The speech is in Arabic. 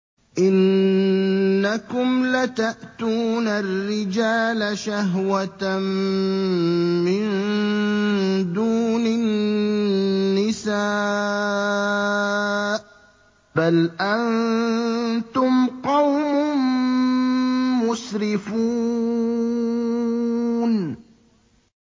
إِنَّكُمْ لَتَأْتُونَ الرِّجَالَ شَهْوَةً مِّن دُونِ النِّسَاءِ ۚ بَلْ أَنتُمْ قَوْمٌ مُّسْرِفُونَ